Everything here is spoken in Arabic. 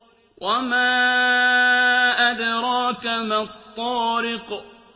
وَمَا أَدْرَاكَ مَا الطَّارِقُ